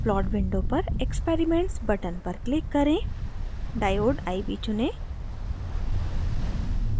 plot window पर experiments button पर click करें diode iv चुनें